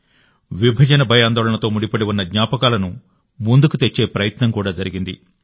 విభజన భయాందోళనలతో ముడిపడి ఉన్న జ్ఞాపకాలను ముందుకు తెచ్చే ప్రయత్నం కూడా జరిగింది